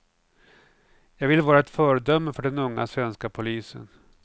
Jag vill vara ett föredöme för den unga svenska polisen.